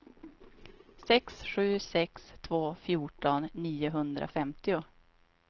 sex sju sex två fjorton niohundrafemtio